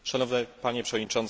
Panie przewodniczący!